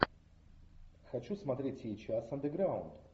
хочу смотреть сейчас андеграунд